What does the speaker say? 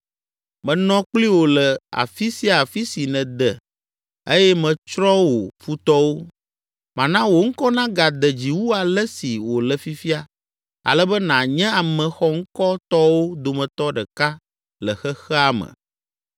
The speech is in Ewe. Menɔ kpli wò le afi sia afi si nède eye metsrɔ̃ wò futɔwo. Mana wò ŋkɔ nagade dzi wu ale si wòle fifia ale be nànye ame xɔŋkɔtɔwo dometɔ ɖeka le xexea me!